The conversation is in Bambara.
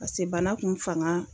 Pase bana kun fanga